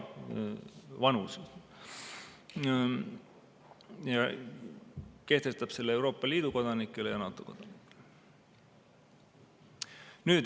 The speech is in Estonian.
Nüüd kehtestataks see õigus ka Euroopa Liidu ja NATO kodanikele.